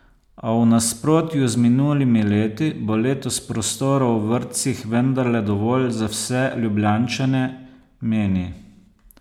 A v nasprotju z minulimi leti bo letos prostora v vrtcih vendarle dovolj za vse Ljubljančane, meni.